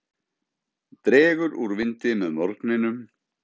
Dregur úr vindi með morgninum